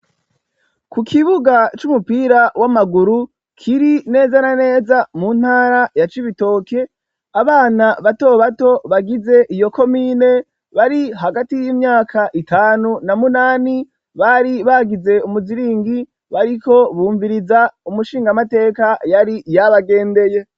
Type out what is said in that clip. Ku kibuga c'umupira w'amaguru kiri neza na neza mu ntara ya Cibitoke, abana bato bato bagize iyo komine bari hagati y'imyaka itanu na munani, bari bagize umuziringi bariko bumviriza umushingamateka yari yabagendeye.